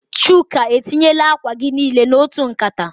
Chuka, etinyela akwa gi nile n'otu nkata.